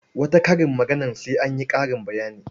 Wata karin maganar sai an yi ƙarin bayani.